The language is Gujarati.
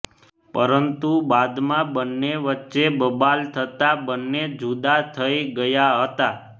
પરંતુ બાદમાં બન્ને વચ્ચે બબાલ થતા બન્ને જુદા થઈ ગયા હતાં